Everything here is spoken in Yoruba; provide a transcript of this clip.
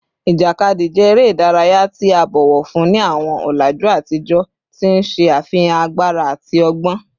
Ijakadi jẹ ere idaraya ti a bọwọ fun ni awọn ọlaju atijọ, ti n ṣe afihan agbara ati ọgbọn